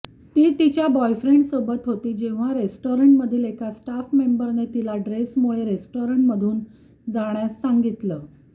ती तिच्या बॉयफ्रेन्डसोबत होती जेव्हा रेस्टॉरन्टमधील एका स्टाफ मेंबरने तिला ड्रेसमुळे रेस्टॉरन्टमधून जाण्यास सांगितलं